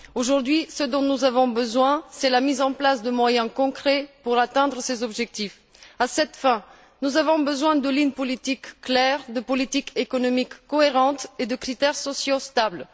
Aujourd'hui, ce dont nous avons besoin, c'est de la mise en place de moyens concrets pour atteindre ces objectifs. À cette fin, nous avons besoin de lignes politiques claires, de politiques économiques cohérentes et de critères sociaux stables.